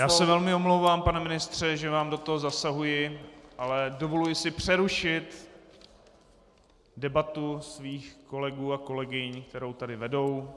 Já se velmi omlouvám, pane ministře, že vám do toho zasahuji, ale dovoluji si přerušit debatu svých kolegů a kolegyň, kterou tady vedou.